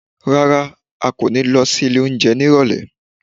Rárá, a kò ní lọ sí ilé oúnjẹ ní Ìrọ̀lẹ̀